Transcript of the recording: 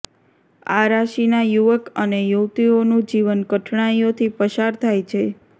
આ રાશિના યુવક અને યુવતીઓનું જીવન કઠણાઈઓથી પસાર થાય છે